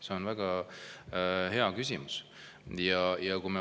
See on väga hea küsimus.